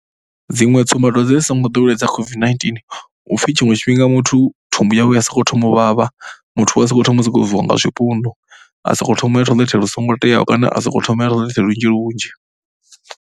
Dziṅwe tsumbadwadze ndi songo ḓoweleho dza COVID-19 hu pfhi tshiṅwe tshifhinga muthu thumbu yawe i ya sokou thoma u vhavha. Muthu u ya sokou thoma u sokou bviwa nga zwipundu, a sokou thoma ya toilet lu songo teaho kana a sokou thoma u ya toilet lunzhi lunzhi.